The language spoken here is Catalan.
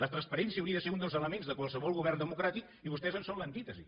la transparència hauria de ser un dels elements de qualsevol govern democràtic i vostès en són l’antítesi